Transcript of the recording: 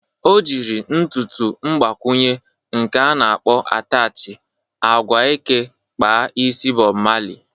O jiri ntụtụ mgbakwụnye, nke a na-akpọkwa atachị agwa eke kpa isi Bọb Mali